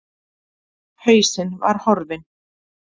Hausinn var horfinn.